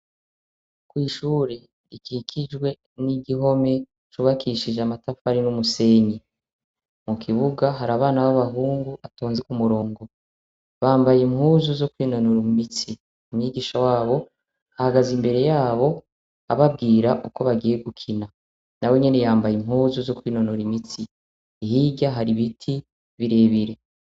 Ishure rikikijwe n'igihome cubakishijwe amatafari n'umusenyi. Mu kibuga, hari abana b'abahungu batonze ku murongo. Bambaye impuzu zo kwinonora imitsi. Umwigisha wabo ahagaze imbere yabo ababwira uko bagiye gukina. Nawe nyene yambaye impuzu zo kwinonora imitsi. Hirya hari ibiti birebire.